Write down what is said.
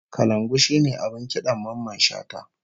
Kalangu shine abin kidan Mamman Shata